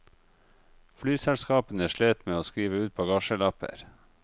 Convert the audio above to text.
Flyselskapene slet med å skrive ut bagasjelapper.